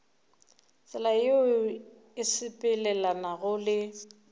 tsela yeo e sepelelanago le